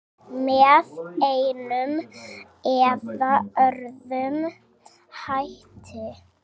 Með einum eða öðrum hætti.